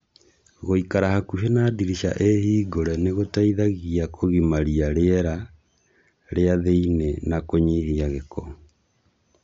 Gũikara hakuhĩ na dirica ĩ hingũre nĩgũteithagia kũgimaria rĩera rĩa thĩinĩ na kũnyihia gĩko